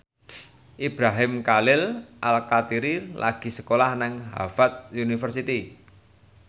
Ibrahim Khalil Alkatiri lagi sekolah nang Harvard university